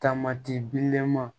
Taamati bilenman